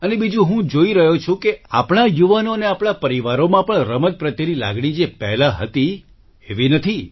અને બીજું હું જોઈ રહ્યો છું કે આપણા યુવાનો અને આપણા પરિવારોમાં પણ રમત પ્રત્યેની લાગણી જે પહેલા હતી એવી નથી